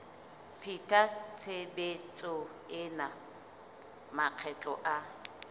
pheta tshebetso ena makgetlo a